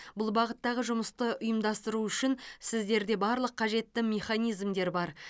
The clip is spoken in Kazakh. бұл бағыттағы жұмысты ұйымдастыру үшін сіздерде барлық қажетті механизмдер бар